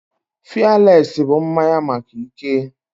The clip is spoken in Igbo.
Fialesi bụ mmanya maka ike